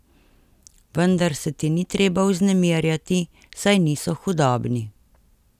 Vendar se ti ni treba vznemirjati, saj niso hudobni.